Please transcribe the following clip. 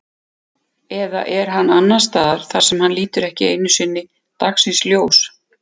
Eða er hann annars staðar þar sem hann lítur ekki einu sinni dagsins ljós?